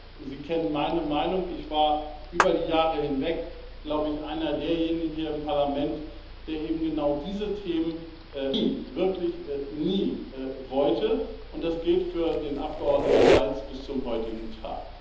Aber Sie kennen meine Meinung Ich war über die Jahre hinweg glaube ich einer derjenigen hier im Parlament, der eben genau diese Themen nie, wirklich nie, wollte, und das gilt für den Abgeordneten Balz bis zum heutigen Tag.